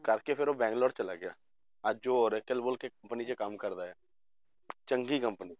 ਕਰਕੇ ਫਿਰ ਉਹ ਬੰਗਲੋਰ ਚਲਾ ਗਿਆ, ਅੱਜ company 'ਚ ਕੰਮ ਕਰਦਾ ਹੈ ਚੰਗੀ company